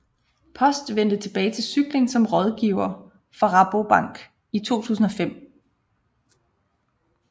Post vendte tilbage til cykling som rådgiver for Rabobank i 2005